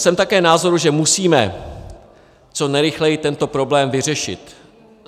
Jsem také názoru, že musíme co nejrychleji tento problém vyřešit.